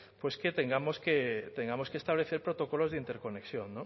que tengamos que establecer protocolos de interconexión